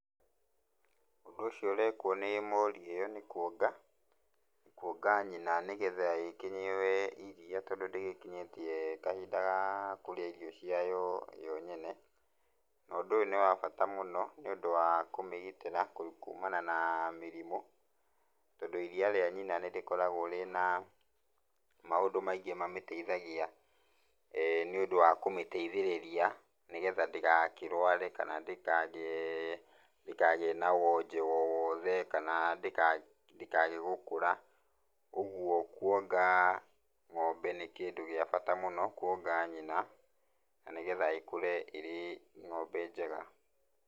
Ũndũ ũcio ũrekwo nĩ mori ĩyo nĩ kuonga, kuonga nyina nĩgetha ĩkĩnyue iria tondũ ndĩgĩkĩnyĩtie kahinda ya kũrĩa irio cia yo nyene. Na ũndũ ũyũ nĩ wa bata mũno nĩ ũndũ wa kũmĩgitĩra kuumana na mĩrimũ tondũ iria rĩa nyina nĩrĩkoragwo rĩna maũndũ maingĩ mamĩteithagia nĩũndũ wa kũmĩteithĩrĩria nĩgetha ndĩgakĩrware kana ndĩkagĩe na wonje o wothe kana ndĩkage gũkũra, ũguo kuonga ng'ombe nĩ kĩndũ gĩa bata mũno kũonga nyina na nĩgetha ĩkũre ĩ ng'ombe njega.